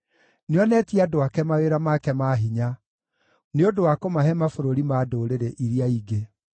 Nĩonetie andũ ake mawĩra make ma hinya, nĩ ũndũ wa kũmahe mabũrũri ma ndũrĩrĩ iria ingĩ.